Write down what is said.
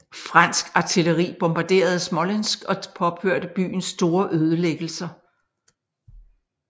Fransk artilleri bombarderede Smolensk og påførte byen store ødelæggelser